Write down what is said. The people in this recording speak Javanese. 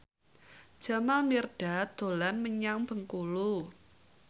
Jamal Mirdad dolan menyang Bengkulu